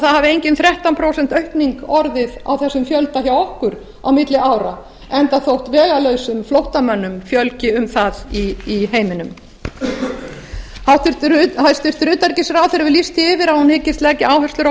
hafi engin þrettán prósent aukning orðið á þessum fjölda hjá okkur á milli ára enda þótt vegalausum flóttamönnum fjölgi um það í heiminum hæstvirts utanríkisráðherra hefur lýst því yfir að hún hyggist leggja áherslur á